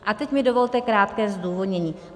A teď mi dovolte krátké zdůvodnění.